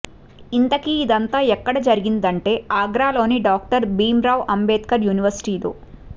ఇంతకీ ఇదంతా ఎక్కడ జరిగిందంటే ఆగ్రాలోని డాక్టర్ భీమ్రావ్ అంబేద్కర్ యూనివర్శిటీలో